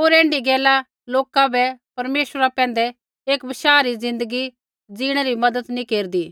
होर ऐण्ढी गैला लोका बै परमेश्वरा पैंधै एक बशाह री ज़िन्दगी जिणै न मज़त नैंई केरदी